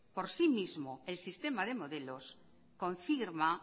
por sí mismo el sistema de modelos confirma